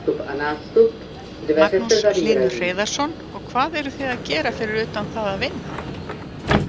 Magnús Hlynur Hreiðarsson: Og hvað eruð þið að gera fyrir utan það að vinna?